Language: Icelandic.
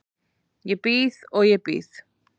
Ég bíð og ég bíð.